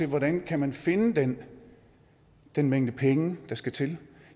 hvordan man kan finde den den mængde penge der skal til